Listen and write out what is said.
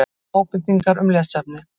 Ábendingar um lesefni: